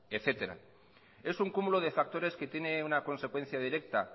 etcétera es un cúmulo de factores que tiene una consecuencia directa